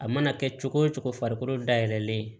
A mana kɛ cogo o cogo farikolo dayɛlɛlen ye